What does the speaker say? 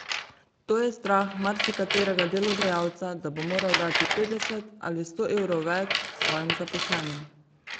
To je strah marsikaterega delodajalca, da bo moral dati petdeset ali sto evrov več svojim zaposlenim.